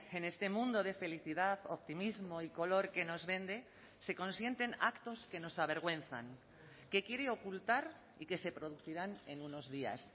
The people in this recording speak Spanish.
en este mundo de felicidad optimismo y color que nos vende se consienten actos que nos avergüenzan que quiere ocultar y que se producirán en unos días